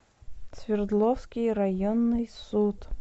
свердловский районный суд